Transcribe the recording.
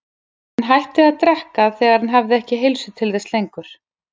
Hann hætti að drekka þegar hann hafði ekki heilsu til þess lengur.